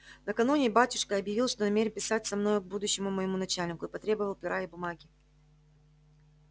накануне батюшка объявил что намерен писать со мною к будущему моему начальнику и потребовал пера и бумаги